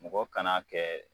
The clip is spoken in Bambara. Mɔgɔ kana kɛ